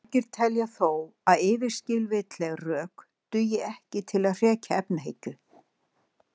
Margir telja þó að yfirskilvitleg rök dugi ekki til að hrekja efahyggju.